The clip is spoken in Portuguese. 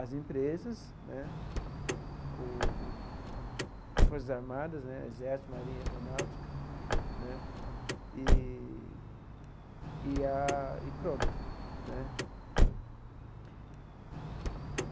as empresas né, o as Forças Armadas né, Exército, Marinha, Aeronáutica né, eee e a e pronto né.